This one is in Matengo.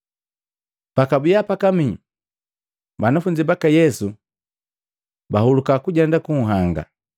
Pakwabiya pakamii banafunzi baka Yesu bahuluka kujenda kunhanga,